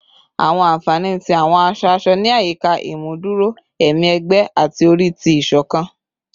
Awọn anfani ti awọn aṣọ-aṣọ ni ayika imuduro ẹmi ẹgbẹ ati ori ti isokan